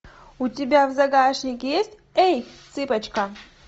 у тебя в загашнике есть эй цыпочка